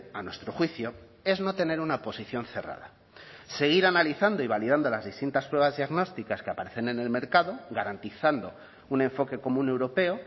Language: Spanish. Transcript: a nuestro juicio es no tener una posición cerrada seguir analizando y validando las distintas pruebas diagnósticas que aparecen en el mercado garantizando un enfoque común europeo